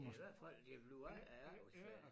Det i hvert det bliver ikke i efterårsferien